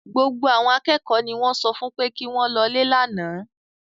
Gbogbo àwọn akẹ́kọ̀ọ́ ni wọ́n sọ fún pé kí wọ́n lọlé lánàá